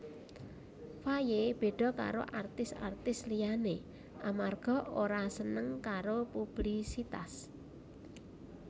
Faye beda karo artis artis liyané amarga ora seneng karo publisitas